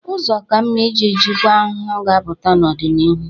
Ụzọ ka mma iji jikwa ahụhụ ga-apụta n'ọdịnihu.